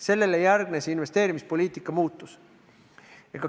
Sellele järgnes investeerimispoliitika muutus.